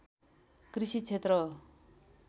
कृषि क्षेत्र हो